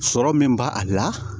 Sɔrɔ min b'a a la